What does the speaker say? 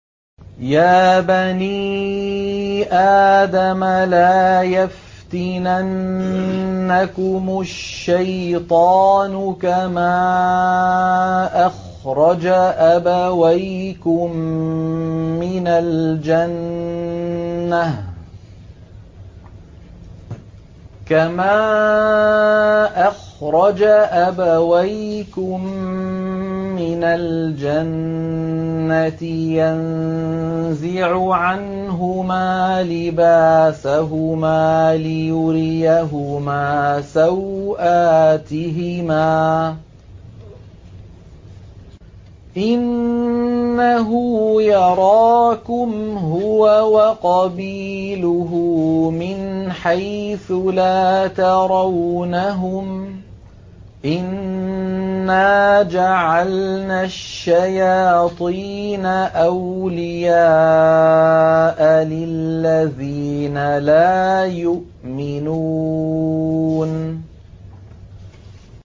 يَا بَنِي آدَمَ لَا يَفْتِنَنَّكُمُ الشَّيْطَانُ كَمَا أَخْرَجَ أَبَوَيْكُم مِّنَ الْجَنَّةِ يَنزِعُ عَنْهُمَا لِبَاسَهُمَا لِيُرِيَهُمَا سَوْآتِهِمَا ۗ إِنَّهُ يَرَاكُمْ هُوَ وَقَبِيلُهُ مِنْ حَيْثُ لَا تَرَوْنَهُمْ ۗ إِنَّا جَعَلْنَا الشَّيَاطِينَ أَوْلِيَاءَ لِلَّذِينَ لَا يُؤْمِنُونَ